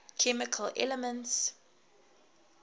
chemical elements